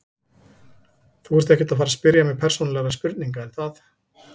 Þú ert ekkert að fara spyrja mig persónulegra spurninga er það?